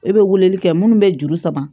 E be weleli kɛ munnu be juru sama